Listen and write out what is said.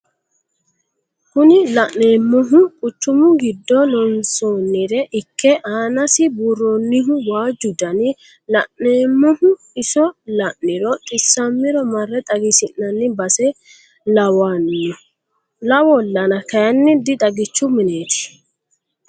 Kuni la'neemohu quchumu giddo loonsoonire ikke aanasi buuronnihu waajju dani la'neemohu iso la'niro xissammiro marre xagisi'nanni base lawonno lawollana kayiinni dixagichu mineeti.